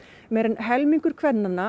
meira en helmingur kvennanna